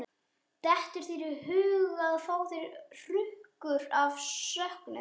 Dettur þér í hug að ég fái hrukkur af söknuði?